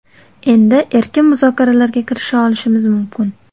Endi erkin muzokaralarga kirisha olishimiz mumkin.